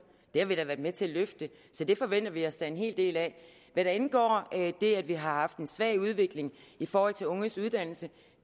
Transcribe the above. det har vi været med til at løfte så det forventer vi os da en hel del af det at vi har haft en svag udvikling i forhold til unges uddannelse